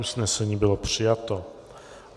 Usnesení bylo přijato.